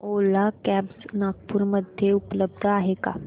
ओला cabs Nagpur मध्ये उपलब्ध आहे का